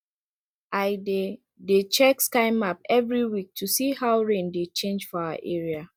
i dey dey check sky map every week to see how rain dey change for our area